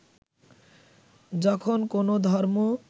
যখন কোনও ধর্ম